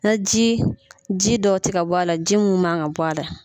Na ji, ji dɔ ti ka bɔ a la ji mun man kan ka bɔ a la.